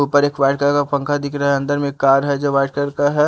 ऊपर एक white colour का पंखा दिख रहा है अंदर में एक कार है जो वाइट कलर का है।